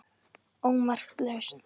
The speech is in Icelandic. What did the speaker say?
ómerkt lausn